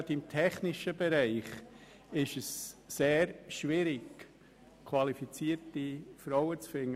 Gerade im technischen Bereich ist es sehr schwierig, qualifizierte Frauen zu finden.